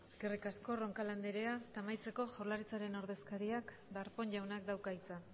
eskerrik asko roncal andrea amaitzeko jaurlaritzaren ordezkariak darpón jaunak dauka hitza